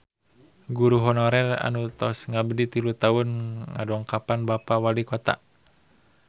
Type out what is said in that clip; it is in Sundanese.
Guru honorer anu tos ngabdi tilu tahun ngadongkapan Bapak Walikota